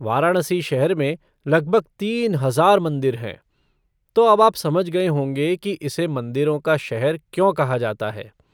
वाराणसी शहर में लगभग तीन हजार मंदिर हैं, तो अब आप समझ गए होंगे कि इसे 'मंदिरों का शहर' क्यों कहा जाता है।